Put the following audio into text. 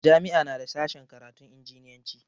Jami'a na da sashen karatun injiniyanci.